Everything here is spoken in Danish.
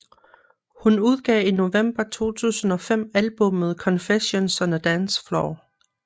Hun udgav i november 2005 albummet Confessions on a Dance Floor